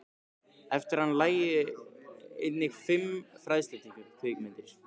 Eftir hann lægju einnig fimm fræðslukvikmyndir.